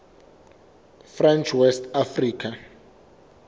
french west africa